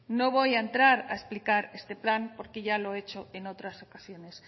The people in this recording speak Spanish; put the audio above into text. no voy a entrar a explicar este plan porque ya lo he hecho en otras ocasiones